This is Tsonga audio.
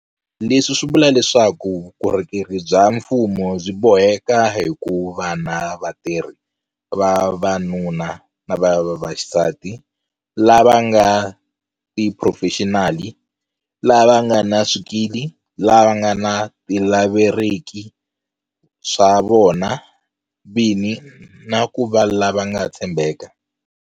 Leswi swi vula leswaku vukorhokeri bya mfumo byi boheka ku va na vatirhi va vavanuna na vavasati lava nga tiphurofexinali, lava nga na swikili, lava nga tilaveriki swa vona vini na ku va lava nga tshembeka.